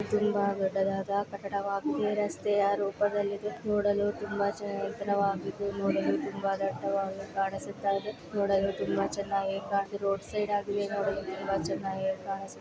ಇಲ್ಲಿ ನಾವು ಏನು ನೋಡ್ತಾ ಇದ್ದೀರಿ ಅಂದ್ರೆ ಇಲ್ಲಿ ಹುಡುಗ ನೀರು ಕಡೆ ಎಲ್ಲಾ ಬ್ರಿಡ್ಜ್ ಮೇಲೆ ನಿಂತುಕೊಂಡು ಅಲ್ಲಿ ಫೋಟೋಸ್ ಹೇಳ್ತೀರೋದು ಅಂತ ನೋಡಬಹುದು